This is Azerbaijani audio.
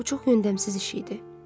Bu çox öndəmsiz iş idi.